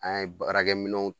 An ye baarakɛ minɛnw